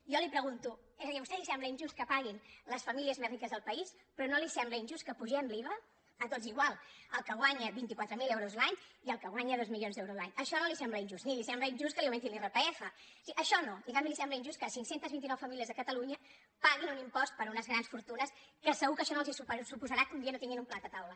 jo li pregunto és a dir a vostè li sembla injust que paguin les famílies més riques del país però no li sembla injust que apugem l’iva a tots igual al que guanya vint quatre mil euros l’any i al que guanya dos milions d’euros l’any això no li sembla injust ni li sembla injust que li augmentin l’irpf és a dir això no i en canvi li sembla injust que cinc cents i vint nou famílies de catalunya paguin un impost per unes grans fortunes que segur que això no els suposarà que un dia no tinguin un plat a taula